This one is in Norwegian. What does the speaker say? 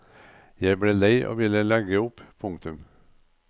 Jeg ble lei og ville legge opp. punktum